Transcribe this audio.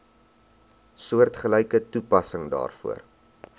soortgelyke toepassing daarvoor